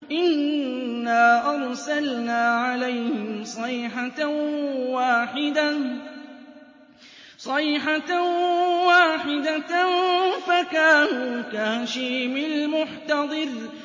إِنَّا أَرْسَلْنَا عَلَيْهِمْ صَيْحَةً وَاحِدَةً فَكَانُوا كَهَشِيمِ الْمُحْتَظِرِ